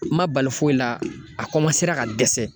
N ma bali foyi la, a ka dɛsɛ.